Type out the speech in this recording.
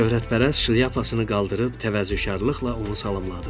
Şöhrətpərəst şlyapasını qaldırıb təvazökarlıqla onu salamladı.